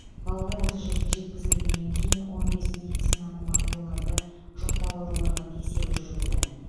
балалар осы жерге жеткізілгеннен кейін он бес медицина маманы оларды жұқпалы ауруларға тексеру жүргізді